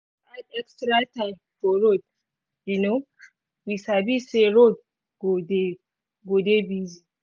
extra time for road um we sabi say roads go dey busy.